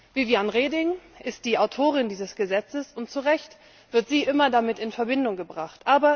Viviane Reding ist die Autorin dieses Gesetzes und zu Recht wird sie immer damit in Verbindung gebracht.